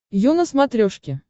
ю на смотрешке